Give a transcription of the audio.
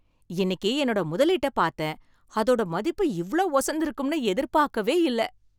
இன்னிக்கு என்னோட முதலீட்ட பாத்தேன் , அதோட மதிப்பு இவ்ளோ உசந்து இருக்கும்னு எதிர்பார்க்கவே இல்ல.